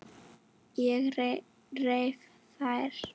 Ég reif þær.